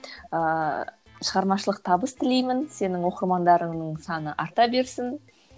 ыыы шығармашылық табыс тілеймін сенің оқырмандарыңның саны арта берсін